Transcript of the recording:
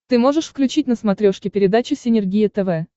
ты можешь включить на смотрешке передачу синергия тв